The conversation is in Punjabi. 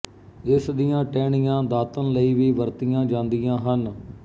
ਇਸ ਦੀਆਂ ਟਹਿਣੀਆਂ ਦਾਤਣ ਲਈ ਵੀ ਵਰਤੀਆਂ ਜਾਂਦੀਆਂ ਹਨ